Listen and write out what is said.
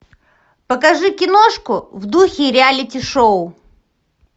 покажи киношку в духе реалити шоу